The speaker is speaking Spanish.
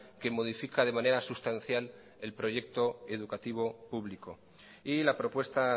que modifica de manera sustancial el proyecto educativo público y la propuesta